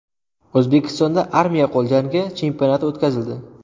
O‘zbekistonda armiya qo‘l jangi chempionati o‘tkazildi.